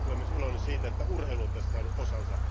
Olen myös iloinen siitä, että urheilu on tässä saanut osansa.